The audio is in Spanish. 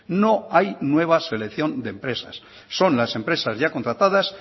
no hay nueva selección de empresas son las empresas ya contratadas